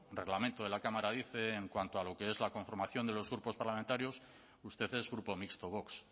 reglamento de la cámara dice en cuanto a lo que es la conformación de los grupos parlamentarios usted es grupo mixto vox